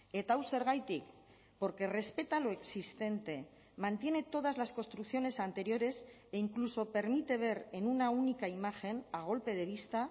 eta hau zergatik porque respeta lo existente mantiene todas las construcciones anteriores e incluso permite ver en una única imagen a golpe de vista